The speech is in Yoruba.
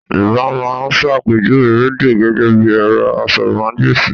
Yorùbá máa ń ṣàpèjúwe rádíò gẹ́gẹ́ bí ẹ̀rọ asọ̀rọ̀mágbèsì